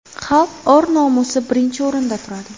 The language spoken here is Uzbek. Xalq or-nomusi birinchi o‘rinda turadi.